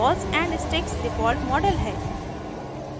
balls and sticks default model है